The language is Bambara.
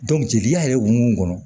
jeliya yɛrɛ ye o mun kɔnɔ